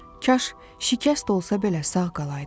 Kaş şikəst olsa belə sağ qalardı.